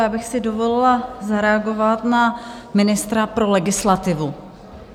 Já bych si dovolila zareagovat na ministra pro legislativu.